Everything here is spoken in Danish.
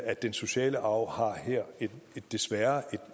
at den sociale arv her desværre har